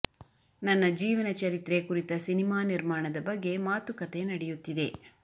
ನನ್ನ ಜೀವನ ಚರಿತ್ರೆ ಕುರಿತ ಸಿನಿಮಾ ನಿರ್ಮಾಣದ ಬಗ್ಗೆ ಮಾತುಕತೆ ನಡೆಯುತ್ತಿದೆ